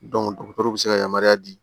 dɔgɔtɔrɔw be se ka yamaruya di